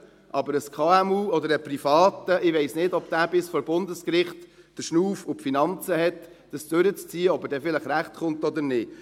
Aber bei einem KMU oder einem Privaten weiss ich nicht, ob diese den Schnauf und die Finanzen bis vor Bundesgericht haben, dies durchzuziehen und zu erfahren, ob sie dann vielleicht Recht bekommt oder nicht.